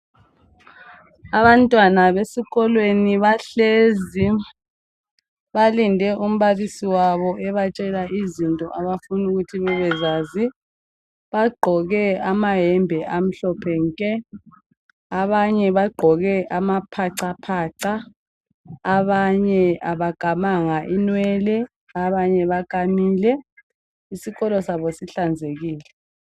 Abantwana besikolweni bahlezi balinde umbalisi wabo ebatshela izinto abafuna ukuthi bebezazi. Bagqoke amayembe amhlophe nke abanye bagqoke amaphacaphaca abanye abakamanga inwele abanye bakamile. Isikolo sabo sihlanzekile.